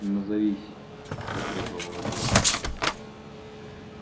назовись потребовала девушка